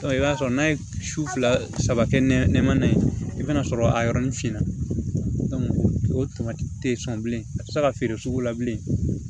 I b'a sɔrɔ n'a ye su fila saba kɛ nɛmana ye i bɛna sɔrɔ a yɔrɔnin finna o tamati te sɔn bilen a tɛ se ka feere sugu la bilen